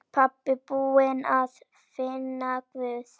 Pabbi búinn að finna Guð!